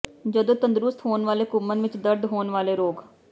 ਜਦੋਂ ਤੰਦਰੁਸਤ ਹੋਣ ਵਾਲੇ ਘੁੰਮਣ ਵਿੱਚ ਦਰਦ ਹੋਣ ਵਾਲੇ ਰੋਗ